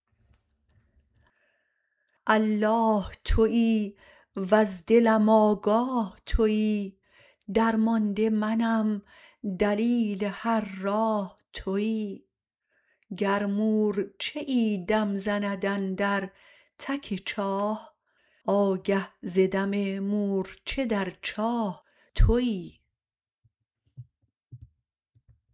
الله تویی وز دلم آگاه تویی درمانده منم دلیل هر راه تویی گر مورچه ای دم زند اندر تک چاه آگه ز دم مورچه در چاه تویی